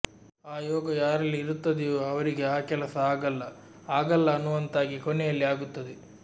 ಆ ಯೋಗ ಯಾರಲ್ಲಿ ಇರುತ್ತದೆಯೋ ಅವರಿಗೆ ಆ ಕೆಲಸ ಅಗಲ್ಲ ಆಗಲ್ಲ ಅನ್ನುವಂತಾಗಿ ಕೊನೆಯಲ್ಲಿ ಆಗುತ್ತದೆ